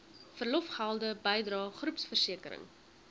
verlofgelde bydrae groepversekering